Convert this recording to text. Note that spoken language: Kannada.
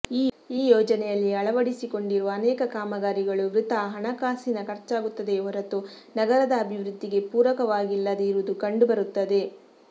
ಈ ಯೋಜನೆಯಲ್ಲಿ ಅಳವಡಿಸಿಕೊಂಡಿರುವ ಅನೇಕ ಕಾಮಗಾರಿಗಳು ವೃಥಾ ಹಣಕಾಸಿನ ಖರ್ಚಾಗುತ್ತದೆಯೇ ಹೊರತು ನಗರದ ಅಭಿವೃದ್ಧಿಗೆ ಪೂರಕವಾಗಿಲ್ಲದೆ ಇರುವುದು ಕಂಡುಬರುತ್ತದೆ